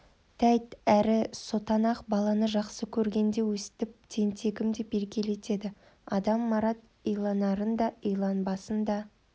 тәйт әрі сотанақ баланы жақсы көргенде өстіп тентегім деп еркелетеді адам марат иланарын да иланбасын да